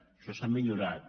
això s’ha millorat